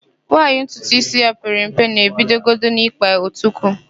Nwaanyị ntutuísí ya pere mpe na-ebidogodi n'ịkpa otukwu.